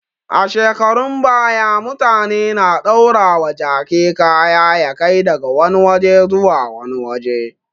A shekarun baya, mutane na daurawa jaki kaya ya kai daga wani waje zuwa wani waje.